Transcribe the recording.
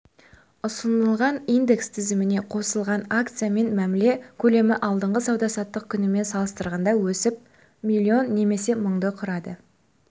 ұсынылған индекс тізіміне қосылған акциямен мәміле көлемі алдыңғы сауда-саттық күнімен салыстырғанда өсіп миллион немесе мыңды құрады